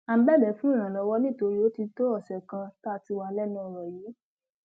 à ń bẹbẹ fún ìrànlọwọ nítorí ó ti tó ọsẹ kan tá a ti wà lẹnu ọrọ yìí